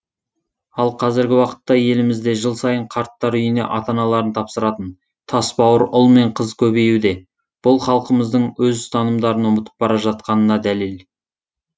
ал қазіргі уақытта елімізде жыл сайын қарттар үйіне ата аналарын тапсыратын тасбауыр ұл мен қыз көбеюде бұл халқымыздың өз ұстанымдарын ұмытып бар жатқанына дәлел